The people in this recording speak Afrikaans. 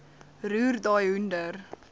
roer daai hoender